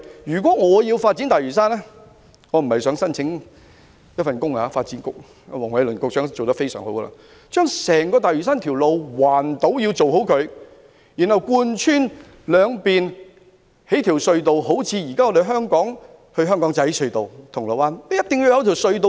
如果我要發展大嶼山——我並非想申請這份工作，發展局局長黃偉綸已做得非常好——先要建造一條圍繞整個大嶼山的環島道路，然後興建一條貫穿兩邊的隧道，就像現時香港仔至銅鑼灣的隧道般。